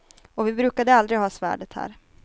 Och vi brukade aldrig ha svärdet här.